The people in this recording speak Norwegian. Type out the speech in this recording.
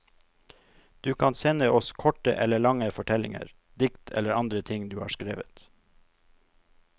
Du kan sende oss korte eller lange fortellinger, dikt eller andre ting du har skrevet.